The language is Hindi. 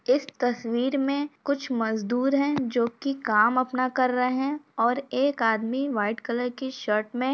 इस तस्वीर में कुछ मजदूर हैं जो की काम अपना कर रहे हैं और एक आदमी व्हाइट कलर की शर्ट में --